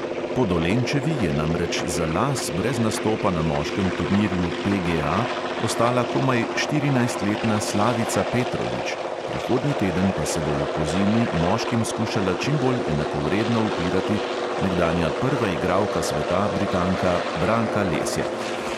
Po dolenčevi je namreč za las brez nastopa na moškem turnirju PGA ostala komaj štirinajstletna slavica petrovič, prihodnji teden pa se bo v kozini moškim skušala čim bolj enakovredno upirati nekdanja prva igralka sveta, britanka branka lesjak.